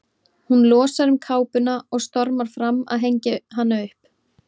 Hún losar um kápuna og stormar fram að hengja hana upp.